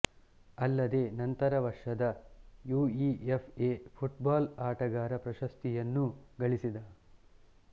ಅಲ್ಲದೆ ನಂತರ ವರ್ಷದ ಯುಇಎಫ್ಎ ಫುಟ್ ಬಾಲ್ ಆಟಗಾರ ಪ್ರಶಸ್ತಿಯನ್ನೂ ಗಳಿಸಿದ